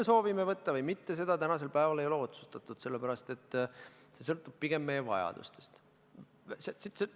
Kas me soovime võtta või mitte, seda tänasel päeval ei ole otsustatud, see sõltub pigem meie vajadustest.